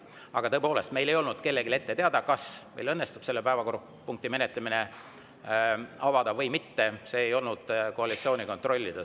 Aga tõepoolest, meile kellelegi ei olnud ette teada, kas meil õnnestub selle päevakorrapunkti menetlemine avada või mitte, see ei olnud koalitsiooni kontrollida.